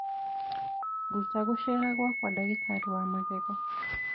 Ruta gũceera gwakwa ndagĩtarĩ wa magego